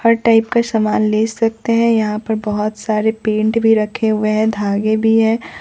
हर type का सामान ले सकते हैं यहां पर बहोत सारे पेंट भी रखे हुए धागे भी है।